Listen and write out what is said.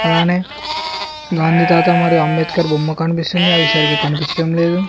అలానే గాంధీతాత మరి అంబేద్కర్ బొమ్మ కనిపిస్తుంది అవి సరిగా కనిపించడం లేదు.